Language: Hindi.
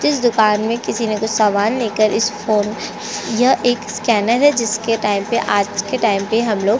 इस दुकान में किसी ने सामान लेकर इस फोन स्केनर है जिसमे आज के टाइम पे हम लोग --